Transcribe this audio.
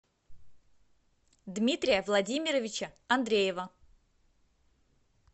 дмитрия владимировича андреева